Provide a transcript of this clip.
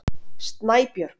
Snæbjörg